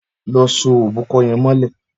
Lọ só óbùkọ̀ yèn mọlẹ